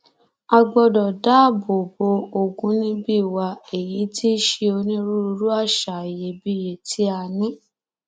a gbọdọ dáàbò bo ogúnibì wa èyí tí í ṣe onírúurú àṣà iyebíye tí a ní